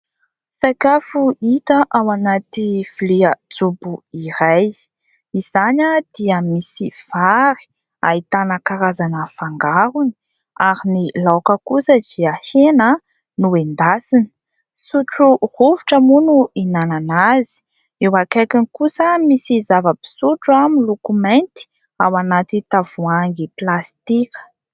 Sakafo hita ao anaty vilia jobo iray. Izany dia misy vary ahitana karazana fangarony ary ny laoka kosa dia hena noendasina, sotro rovitra moa no hihinanana azy, eo akaikiny kosa misy zava-pisotro miloko mainty ao anaty tavoahangy plastika.